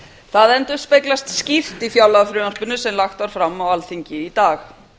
það endurspeglast skýrt í fjárlagafrumvarpinu sem lagt var fram á alþingi í dag